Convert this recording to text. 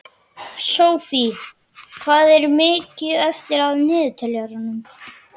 Sophie, hvað er mikið eftir af niðurteljaranum?